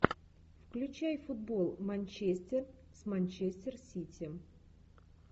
включай футбол манчестер с манчестер сити